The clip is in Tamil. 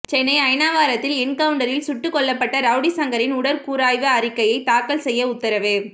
சென்னை அயனாவரத்தில் என்கவுண்டரில் சுட்டுக்கொல்லப்பட்ட ரவுடி சங்கரின் உடற்கூராய்வு அறிக்கையை தாக்கல் செய்ய உத்தரவு